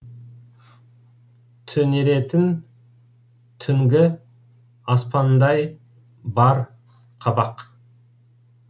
түнеретін түнгі аспандай бар қабақ